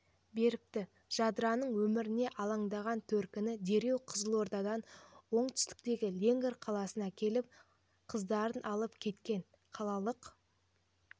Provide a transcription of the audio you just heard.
беріпті жадыраның өміріне аландаған төркіні дереу қызылордадан оңтүстіктегі леңгір қаласына келіп қыздарын алып кеткен қалалық